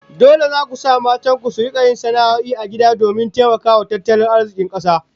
Dole zaku sa matan ku su rika sana'o'i a gida domin taimakawa tattalin arzikin kasa